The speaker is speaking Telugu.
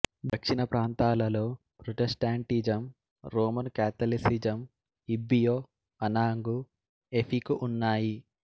దక్షిణప్రాంతాలలో Protestantism Roman Catholicism Ibibio Anang Efik ఉన్నాయి